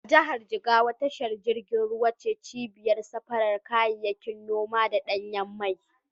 A jihar Jigawa tashar jirgin ruwa ce cibiyar safarar kayayyakin noma da ɗanyen mai.